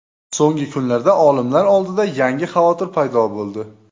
So‘nggi kunlarda olimlar oldida yangi xavotir paydo bo‘ldi.